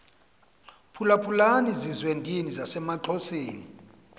phulaphulani zizwendini zasemaxhoseni